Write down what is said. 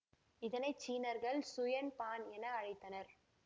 இதனை சீனர்கள் சுயன் பான் என அழைத்தனர்